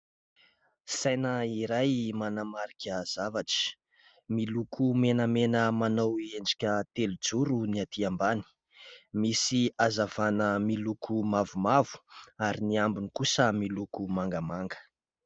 Saina iray manamarika zavatra. Miloko menamena manao endrika telo zoro ny aty ambany ; misy hazavàna miloko mavomavo ary ny ambony kosa miloko mangamanga.